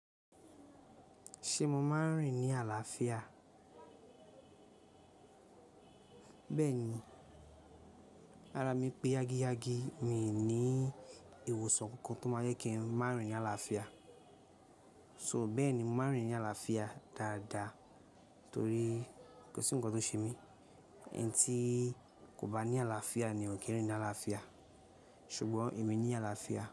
Ṣé mo máa ń rìn ní àlàáfíà? Bẹ́ẹ̀ni, ara mi pé yági yagi, mi ò ní ìwòsàn kankan tó máa yẹ kí n má rìn ní àlàáfíà. So bẹ́ẹ̀ni, mo máa ń rìn ní àlàáfíà dáadáa torí kò sí ohun kan tó ṣe mí, ẹni tí kò bá ní àlàáfíà ni ò kí ń rìn ní àlàáfíà. Ṣùgbọ́n èmi ní àlàáfíà.